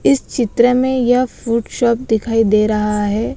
इस चित्र में यह फ्रूट शॉप दिखाई दे रहा है।